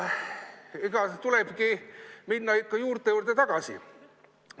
Tulebki minna ikka juurte juurde tagasi.